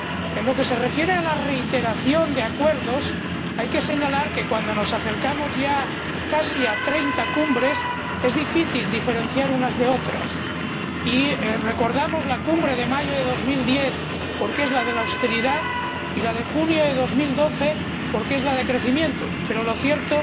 En lo que se refiere a la reiteración de acuerdos, hay que señalar que, cuando nos acercamos ya casi a 30 cumbres, es difícil diferenciar unas de otras, y recordamos la cumbre de mayo de 2010, porque es la de la austeridad, y la de junio de 2012, porque es la de crecimiento, pero lo cierto